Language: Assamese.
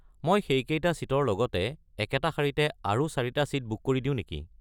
মই সেইকেইটা ছিটৰ লগতে একেটা শাৰীতে আৰু চাৰিটা ছিট বুক কৰি দিও নেকি?